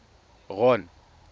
ron